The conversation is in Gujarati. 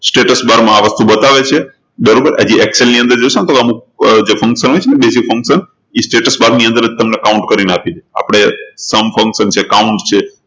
status bar માં આ વસ્તુ બતાવે છે બરોબર હજી Excel ની અંદર જોશો ને તો અમુક function હોય છે ને જે function એ status bar ની અંદર જ તમને count કરી ને આપી આપણે count function છે છે